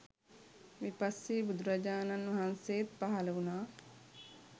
විපස්සී බුදුරජාණන් වහන්සේත් පහළ වුණා.